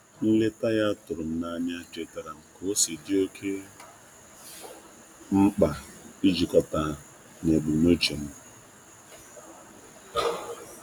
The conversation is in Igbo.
Nleta ya tụrụ m n'anya chetaara m ka-osi di oke mkpa ijikọta na ijikọta na ebumnuche m.